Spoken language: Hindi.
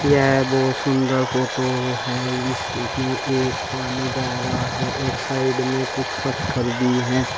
यह है बहुत सुंदर फोटो है इसमें एक पानी बह रहा है और साइड में कुछ पत्थर भी है।